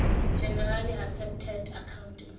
generally accepted accounting